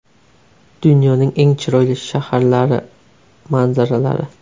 Dunyoning eng chiroyli shaharlari manzaralari.